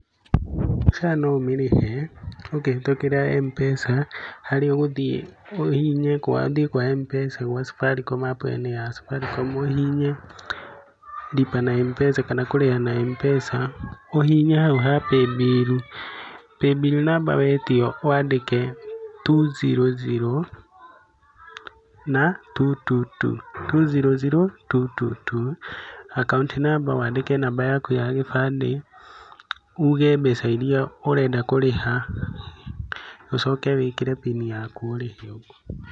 SHA no ũmĩrĩhe ũkĩhĩtũkĩra M-Pesa harĩa ũgũthie ũhihinye kwa ũthiĩ kwa M-Pesa gwa Safaricom APP -inĩ ya Safaricom ũhihinye Lipa na M-Pesa kana kũrĩha na M-Pesa, ũhihinye hau ha Paybill. Paybill namba wetio wandĩke two zero zero na two two two, two zero zero two two two, akaũnti namba wandĩke namba yaku ya gĩbandĩ uge mbeca iria ũrenda kũrĩha, ũcoke wĩkire mbini yaku ũrĩhe.